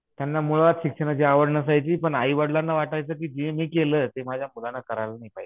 त्यांना मुळात शिक्षणाची आवड नसायची पण आईवडिलांना वाटायचं की जे मी केलं ते माह्या मुलांना करायला नाही पाहिजे.